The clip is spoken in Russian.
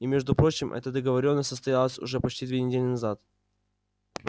и между прочим эта договорённость состоялась уже почти две недели назад